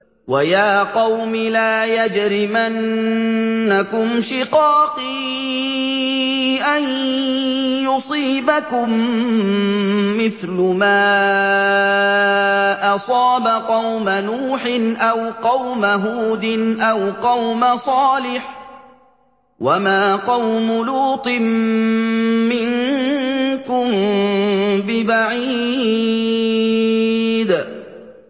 وَيَا قَوْمِ لَا يَجْرِمَنَّكُمْ شِقَاقِي أَن يُصِيبَكُم مِّثْلُ مَا أَصَابَ قَوْمَ نُوحٍ أَوْ قَوْمَ هُودٍ أَوْ قَوْمَ صَالِحٍ ۚ وَمَا قَوْمُ لُوطٍ مِّنكُم بِبَعِيدٍ